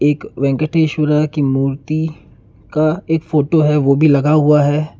एक वेंकटेश्वर की मूर्ति का एक फोटो है वो भी लगा हुआ है।